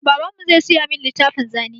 Babanmu zai saya min littafin zane.